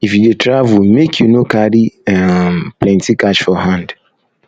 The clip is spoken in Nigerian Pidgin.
if you dey travel make you no carry um plenty cash for hand